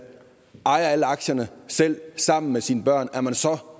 ejer alle aktierne selv sammen med sine børn er man så